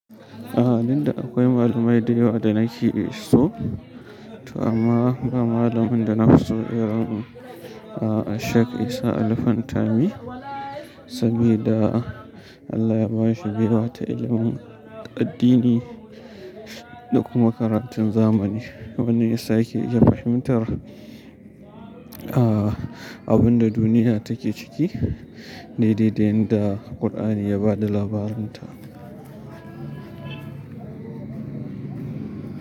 A, duk da akwai malamai da yawa da nake so to amma ba malamin da na fi so irin a-a Sheikh Isa Ali Fantami. Saboda Allah ya ba shi baiwa ta ilimin addini da kuma karatun zamani wanda ya sa ya ke iya fahimtar, ah, abun da duniya take ciki daidai da yanda Kur'ani ya ba da labarin ta.